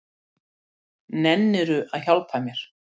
Nennirðu að hjálpa mér?